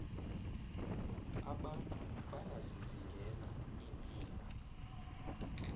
abantu bayazizingela iimbila